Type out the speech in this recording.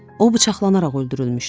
O bıçaqlanaraq öldürülmüşdü.